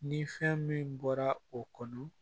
Ni fɛn min bɔra o kɔnɔ